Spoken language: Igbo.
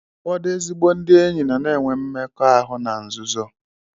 Ụfọdụ ezigbo ndị enyi nọ na-enwe mmekọahụ na nzuzo.